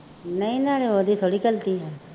ਨਹੀਂ ਨਾਲੇ ਉਹਦੀ ਥੋੜ੍ਹੀ ਗਲਤੀ ਹੈ